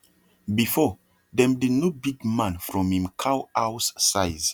before dem dey know big man from him cow house size